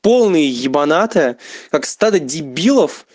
полный ебаната как стадо дебилов